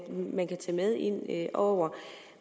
man kan tage med ind over